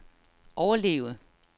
overleve